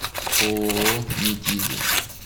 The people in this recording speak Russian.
ооо метизы